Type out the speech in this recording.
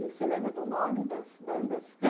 E você lembra do nome das bandas?